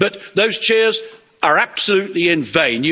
But those cheers are absolutely in vain.